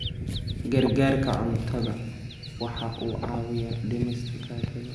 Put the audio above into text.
Gargaarka cuntadu waxa uu caawiyaa dhimista gaajada.